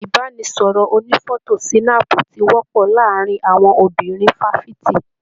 Ibanisọrọ ònífọ̀tò sinaapu tí wọpọ láàárín àwọn obìnrin fafiti.